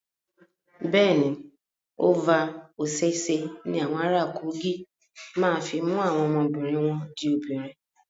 Bẹ́ẹ̀ ni, Ova Osese ní awọn ara Kogi máa fi mú àwọn ọmọbìnri wọn di obìnrin.